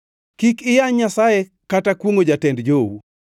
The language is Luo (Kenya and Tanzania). “Kik iyany Nyasaye kata kwongʼo jatend jou.